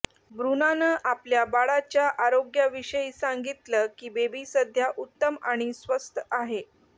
ब्रुनानं आपल्या बाळाच्या आरोग्याविषयी सांगितलं की बेबी सध्या उत्तम आणि स्वस्थ आहे